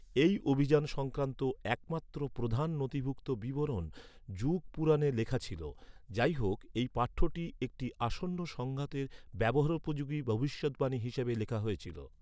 এই অভিযান সংক্রান্ত একমাত্র প্রধান নথিভুক্ত বিবরণ যুগ পুরাণে লেখা ছিল। যাইহোক, এই পাঠ্যটি একটি আসন্ন সংঘাতের ব্যবহারোপযোগী ভবিষ্যদ্বাণী হিসাবে লেখা হয়েছিল।